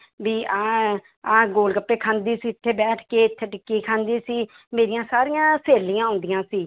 ਵੀ ਆਹ ਹੈ, ਆਹ ਗੋਲ ਗੱਪੇ ਖਾਂਦੀ ਸੀ ਇੱਥੇ ਬੈਠ ਕੇ, ਇੱਥੇ ਟਿੱਕੀ ਖਾਂਦੀ ਸੀ ਮੇਰੀਆਂ ਸਾਰੀਆਂ ਸਹੇਲੀਆਂ ਆਉਂਦੀਆਂ ਸੀ।